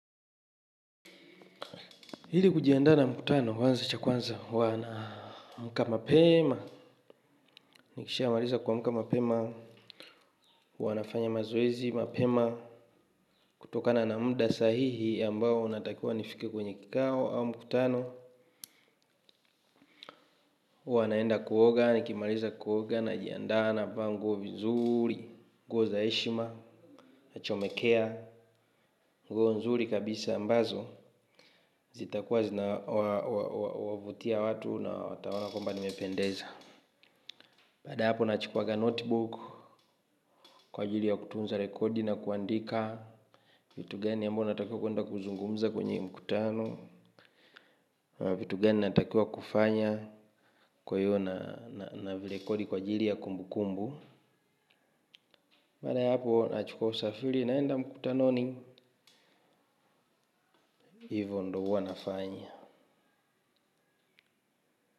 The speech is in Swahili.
Ili kujiandaa na mkutano, huanza cha kwanza, huwa naamka mapema. Nikishamaliza kuamka mapema huwa nafanya mazoezi mapema kutokana na muda sahihi ambao natakiwa nifike kwenye kikao au mkutano huwa naenda kuoga, nikimaliza kuoga najiandaa navaa nguo vizuri, nguo za heshima, achomekea, nguo nzuri kabisa ambazo. Zitakuwa zinawavutia watu na wataona kwamba nimependeza. Baada ya hapo nachukuaga notebook kwa ajiri ya kutunza rekodi na kuandika vitu gani ambao natakiwa kuenda kuzungumza kwenye mkutano vitu gani natakiwa kufanya. Baada ya hapo nachukua usafiri naenda mkutanoni. Hivo ndo huwa nafanya.